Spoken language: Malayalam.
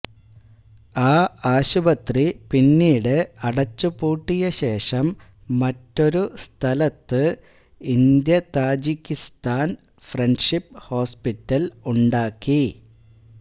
ആ ആശുപത്രി പിന്നീട് അടച്ചുപൂട്ടിയശേഷം മറ്റൊരു സ്ഥലത്ത് ഇന്ത്യതാജിക്കിസ്ഥാൻ ഫ്രണ്ട്ഷിപ്പ് ഹോസ്പിറ്റൽ ഉണ്ടാക്കി